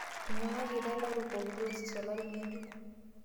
Enyang'akita lairukok diocese olori ng'ejuk